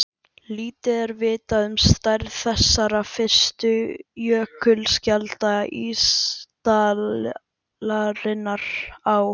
Lítið er vitað um stærð þessara fyrstu jökulskjalda ísaldarinnar á